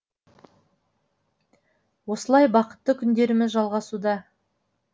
осылай бақытты күндеріміз жалғасуда